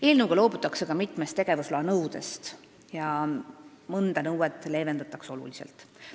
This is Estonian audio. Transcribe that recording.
Eelnõu kohaselt loobutakse mitmest tegevusloa nõudest ja mõnda nõuet leevendatakse oluliselt.